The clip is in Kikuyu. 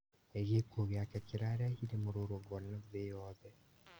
Gĩkuo gĩake kĩarehire mũrũrũngano thĩ yothe